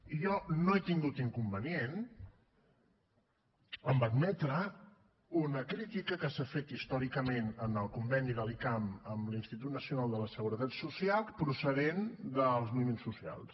i jo no he tingut inconvenient en admetre una crítica que s’ha fet històricament al conveni de l’icam amb l’institut nacional de la seguretat social procedent dels moviments socials